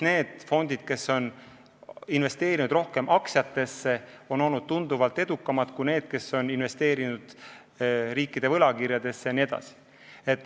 Need fondid, kes on investeerinud rohkem aktsiatesse, on olnud tunduvalt edukamad kui need, kes on investeerinud riikide võlakirjadesse jne.